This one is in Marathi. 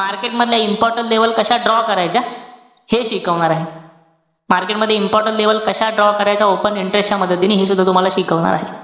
market मधल्या important level कशा draw करायच्या. हे शिकवणारे. Market मध्ये important level कशा draw करायच्या, open interest च्या मदतीने हे सुद्धा तुम्हाला शिकवणारे.